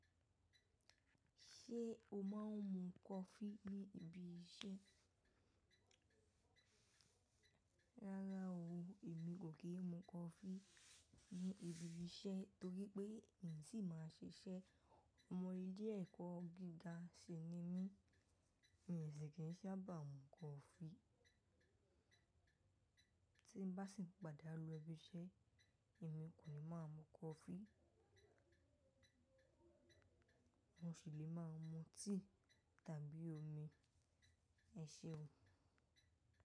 Ṣé o máa ń mu coffee ní ibi iṣẹ́? Rárá o, èmi kò kí ń mu coffee ní ibi iṣẹ́ torí pé n tì máa ṣiṣẹ́. Ọmọlé ilẹ́ ẹ̀kọ́ gíga ṣì ni mí. Mi o sì kìí sábà bá mú coffee. Tí n bá sì ń padà lo ibi iṣẹ́, èmi kò ní máa mu coffee. Mo ṣì lè máa mu tea tàbí omi. Ẹ ṣe o?